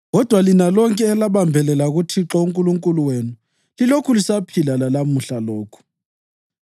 kodwa lina lonke elabambelela kuThixo uNkulunkulu wenu lilokhu lisaphila lalamuhla lokhu.